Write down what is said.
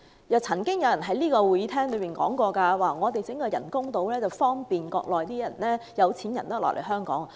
又曾經有議員表示，政府興建人工島是為了方便內地的有錢人來港。